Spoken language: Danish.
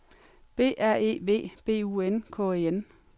B R E V B U N K E N